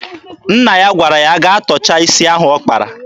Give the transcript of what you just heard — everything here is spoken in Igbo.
Nna ya gwara ya gaa tọcha isi ahụ ọ kpara.